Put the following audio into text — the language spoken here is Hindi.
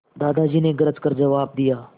दादाजी ने गरज कर जवाब दिया